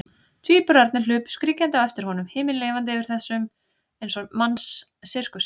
Tvíburarnir hlupu skríkjandi á eftir honum, himinlifandi yfir þessum eins manns sirkus.